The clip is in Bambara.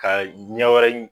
Ka ɲɛ wɛrɛ ɲi